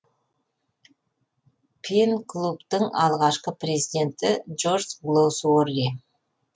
пен клубтың алғашқы президенті джон голсуорси